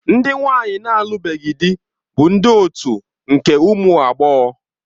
Ndị nwanyi na-alụbeghị di bụ ndị otu nke ụmụ agbọghọ.